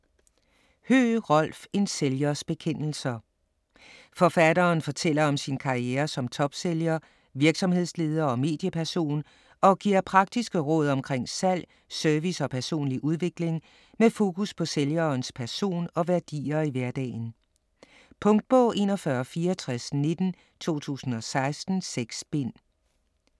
Høegh, Rolf: En sælgers bekendelser Forfatteren fortæller om sin karriere som topsælger, virksomhedsleder og medieperson, og giver praktiske råd omkring salg, service og personlig udvikling med fokus på sælgerens person og værdier i hverdagen. Punktbog 416419 2016. 6 bind.